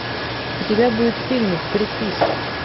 у тебя будет фильмик крепись